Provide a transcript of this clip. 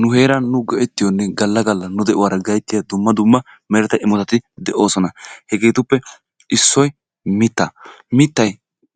Nu heeran nu go'ettiyonne galla galla nu de'uwaara gayttiya dumma dumma meretta imotati de'oosona. Hegeetuppe issoy mittaa. Mittay